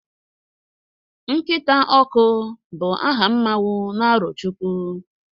nkita ọkụ, bu aha mmanwu n' arochukwu